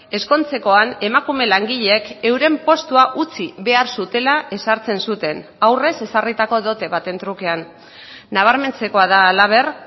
ezkontzekoan emakume langileek euren postua utzi behar zutela ezartzen zuten aurrez ezarritako dote baten trukean nabarmentzekoa da halaber